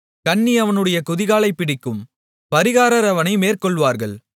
கண்ணி அவனுடைய குதிகாலைப் பிடிக்கும் பறிகாரர் அவனை மேற்கொள்வார்கள்